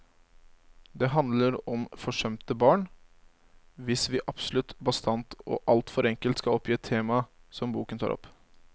Det handler om forsømte barn, hvis vi absolutt bastant og alt for enkelt skal oppgi et tema som boken tar opp.